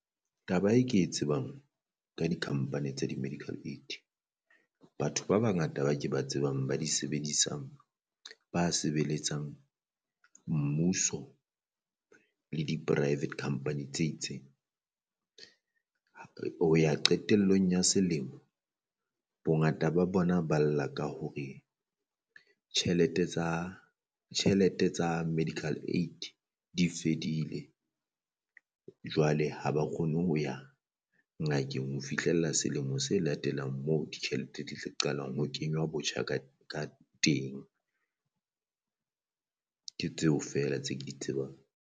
Taba e ke e tsebang ka di company tsa di medical aid, batho ba bangata ba ke ba tsebang ba di sebedisang ba sebeletsang mmuso le di private company tse itseng, ho ya qetellong ya selemo bongata ba bona ba lla ka hore tjhelete tsa tjhelete tsa medical aid di fedile. Jwale ha ba kgone ho ya ngakeng ho fihlella selemo se latelang moo ditjhelete di qalang ho kenywa botjha ka ka teng ke tseo feela tse di tseba.